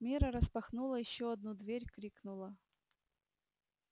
мирра распахнула ещё одну дверь крикнула